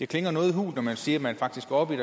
klinger noget hult når man siger at man faktisk går op i